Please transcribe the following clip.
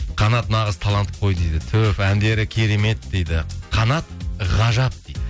қанат нағыз талант қой дейді түһ әндері керемет дейді қанат ғажап